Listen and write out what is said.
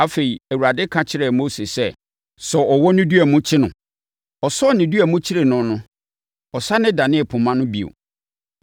Afei, Awurade ka kyerɛɛ Mose sɛ, “Sɔ ɔwɔ no dua mu kyere no!” Ɔsɔɔ ne dua mu kyeree no no, ɛsane danee poma no bio.